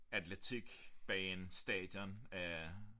Atletik bane stadion af